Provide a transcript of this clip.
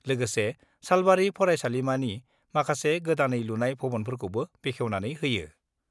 लोगोसे सालबारि फरायसालिमानि माखासे गोदानै लुनाय भवनफोरखौबो बेखेवनानै होयो।